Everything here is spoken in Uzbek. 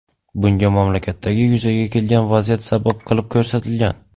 Bunga mamlakatdagi yuzaga kelgan vaziyat sabab qilib ko‘rsatilgan.